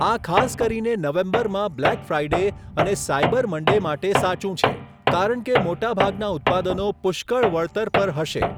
આ ખાસ કરીને નવેમ્બરમાં બ્લેક ફ્રાઇડે અને સાયબર મન્ડે માટે સાચું છે, કારણ કે મોટાભાગના ઉત્પાદનો પુષ્કળ વળતર પર હશે.